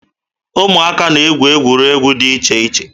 Ụmụaka na-egwu egwuregwu dị iche iche